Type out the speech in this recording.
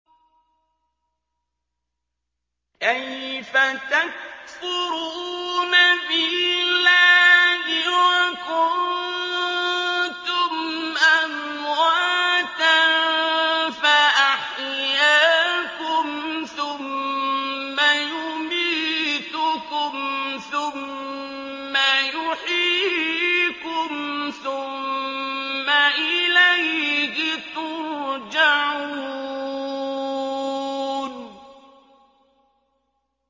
كَيْفَ تَكْفُرُونَ بِاللَّهِ وَكُنتُمْ أَمْوَاتًا فَأَحْيَاكُمْ ۖ ثُمَّ يُمِيتُكُمْ ثُمَّ يُحْيِيكُمْ ثُمَّ إِلَيْهِ تُرْجَعُونَ